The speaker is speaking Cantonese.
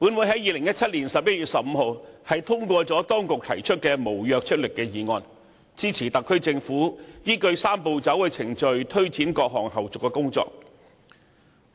在2017年11月15日，本會通過政府當局提出的無約束力議案，支持特區政府依據"三步走"程序，推展各項後續工作。